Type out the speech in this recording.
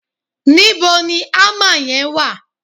níbo ni hammer yen wa